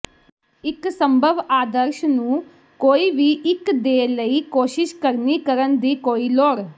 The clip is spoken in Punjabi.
ਇੱਕ ਸੰਭਵ ਆਦਰਸ਼ ਨੂੰ ਕੋਈ ਵੀ ਇੱਕ ਦੇ ਲਈ ਕੋਸ਼ਿਸ਼ ਕਰਨੀ ਕਰਨ ਦੀ ਕੋਈ ਲੋੜ